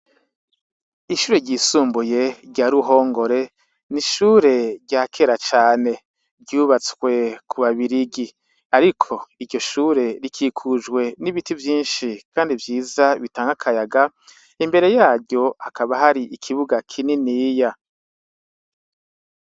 Ishure ryisumbuye rya Ruhongore, ni ishure rya kera cane, ryubatswe ku babirigi. ariko iryo shure rikikujwe n'ibiti vyinshi kandi vyiza bitanga akayaga, imbere yaryo hakaba hari ikibuga kininiya.